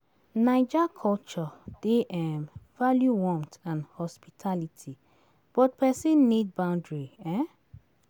Naija culture dey value warmth and hospitality, but pesin need boundary.